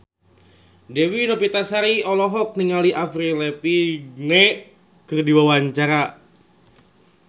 Dewi Novitasari olohok ningali Avril Lavigne keur diwawancara